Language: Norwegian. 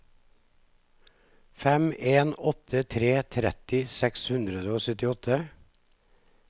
fem en åtte tre tretti seks hundre og syttiåtte